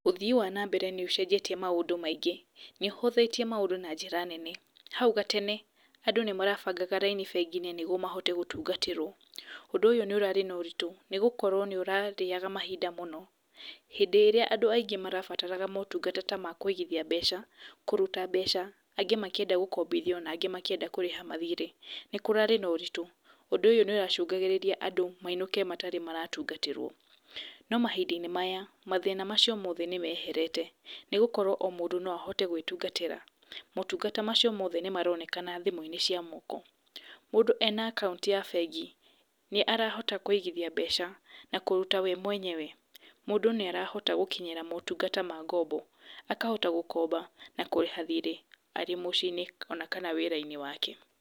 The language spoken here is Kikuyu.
Ũthii wa na mbere nĩũcenjetie maũndũ maingĩ, nĩũhothĩtie maũndũ na njĩra nene, hau gatene andũ nĩ marabangaga raini bengi-inĩ nĩguo mahote gũtungatĩrwo, ũndũ ũyũ nĩ ũrarĩ na ũritũ nĩgũkorwo nĩ ũrarĩaga mahinda mũno hĩndĩ ĩrĩa andũ aingĩ marabataraga motungata makuigithia mbeca, kũruta mbeca, angĩ makĩenda gũkombithio na angĩ makĩenda kũriha mathirĩ, nĩ kũrarĩ na ũritu, ũndũ ũyũ nĩ ũracũngagĩrĩria andũ mainũke matarĩ maratungatĩrwo, no mahinda -inĩ maya mathĩna macio mothe nĩ meherete nĩgũkorwo o mũndũ no ahote gwĩtungatĩra. Motungata macio mothe nĩ maronekana thimu-inĩ cia moko, mũndũ ena akaunti ya bengi, nĩ arahota kũigithia mbeca, kũruta we mwenyewe, mũndũ nĩarahota gũkinyĩra motungata ma ng'ombo, akahota gũkomba na akarĩha thirĩ arĩ mũciĩ-inĩ kana wĩra-inĩ wake